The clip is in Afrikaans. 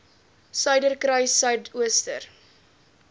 suiderkruissuidooster